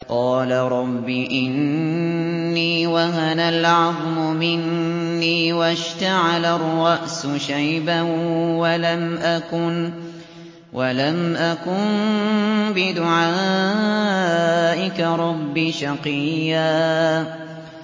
قَالَ رَبِّ إِنِّي وَهَنَ الْعَظْمُ مِنِّي وَاشْتَعَلَ الرَّأْسُ شَيْبًا وَلَمْ أَكُن بِدُعَائِكَ رَبِّ شَقِيًّا